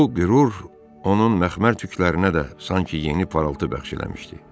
Bu qürur onun məxmər tüklərinə də sanki yeni parıltı bəxş eləmişdi.